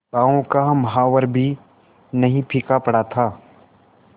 पांव का महावर पर भी नहीं फीका पड़ा था